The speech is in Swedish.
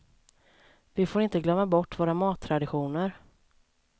Vi får inte glömma bort våra mattraditioner.